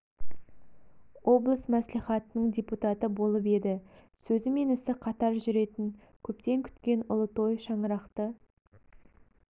облыс мәслихатының депутаты болып еді сөзі мен ісі қатар жүретін көптен күткен ұлы той шаңырақты